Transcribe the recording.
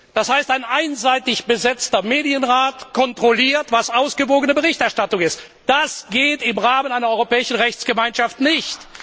Das heißt, ein einseitig besetzter Medienrat kontrolliert, was ausgewogene Berichterstattung ist. Das geht im Rahmen einer europäischen Rechtsgemeinschaft nicht!